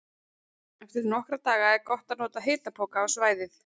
Eftir nokkra daga er gott að nota hitapoka á svæðið.